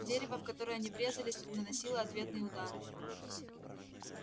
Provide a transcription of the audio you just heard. дерево в которое они врезались наносило ответные удары